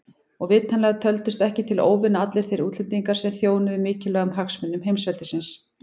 Og vitanlega töldust ekki til óvina allir þeir útlendingar sem þjónuðu mikilvægum hagsmunum heimsveldisins.